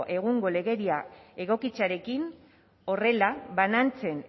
egungo legeria egokitzearekin horrela banantzen